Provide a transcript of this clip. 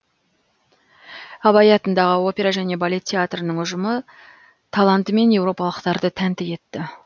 абай атындағы опера және балет театрының ұжымы талантымен еуропалықтарды тәнті етті